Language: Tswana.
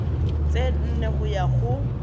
tse nne go ya go